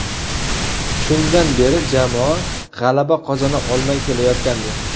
Shundan beri jamoa g‘alaba qozona olmay kelayotgandi.